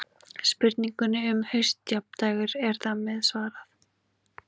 Spurningunni um haustjafndægur er þar með svarað.